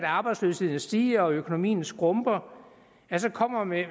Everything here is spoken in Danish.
arbejdsløsheden stiger og økonomien skrumper så kommer med